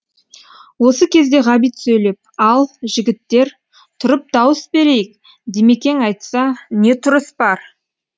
осы кезде ғабит сөйлеп ал жігіттер тұрып дауыс берейік димекең айтса не тұрыс бар